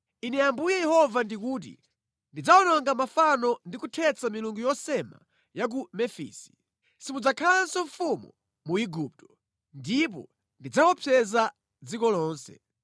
“ ‘Ine Ambuye Yehova ndikuti, “ ‘Ndidzawononga mafano ndi kuthetsa milungu yosema ya ku Mefisi. Simudzakhalanso mfumu mu Igupto, ndipo ndidzaopseza dziko lonse.